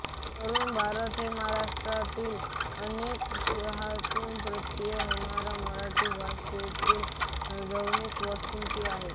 तरूण भारत हे महाराष्ट्रातील अनेक शहरांतून प्रकाशित होणारे मराठी भाषेतील दैनिक वृत्तपत्र आहे